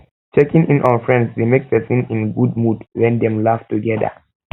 checking in on friends de make persin de in good mood when dem laugh together